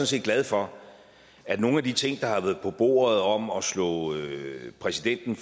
set glad for at nogle af de ting der har været på bordet om at slå præsidenten